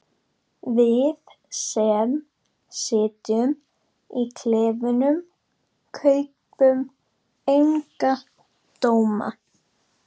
Við sem sitjum í klefunum kaupum enga dóma.